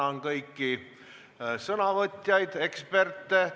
Ma tänan kõiki sõnavõtjaid, eksperte!